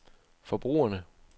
forbrugerne